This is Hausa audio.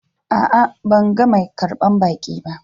A'a, ban gan mai karban baki ba.